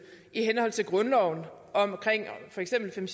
i henhold til grundloven om for eksempel fem